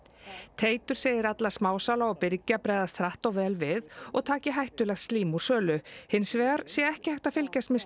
Teitur segir alla smásala og birgja bregðast hratt og vel við og taki hættulegt slím úr sölu hins vegar sé ekki hægt að fylgjast með